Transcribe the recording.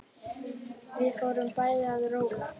Við fórum bæði að róla.